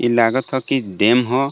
ई लागथ की डैम ह.